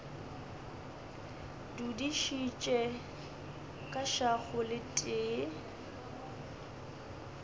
dudišitše ka šago le tee